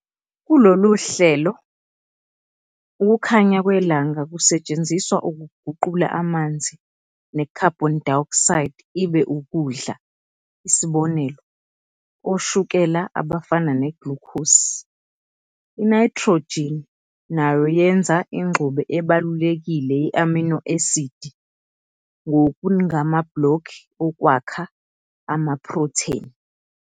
Kulolu hlelo, ukukhanya kwelanga kusetshenziswa ukuguqula amanzi ne-carbon dioxide ibe ukudla isib. oshukela abafana neglukhosi. INayithrojini nayo yenza ingxube ebalulekile ye-amino esidi, nokungamabhlokhi okwakha amaphrotheni.